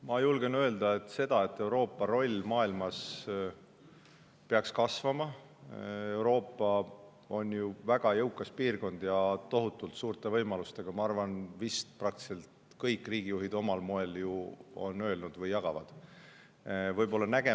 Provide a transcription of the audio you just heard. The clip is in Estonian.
Ma julgen öelda, et seda, et Euroopa roll maailmas peaks kasvama – Euroopa on ju väga jõukas piirkond ja tohutult suurte võimalustega – on vist praktiliselt kõik riigijuhid omal moel öelnud või nad jagavad.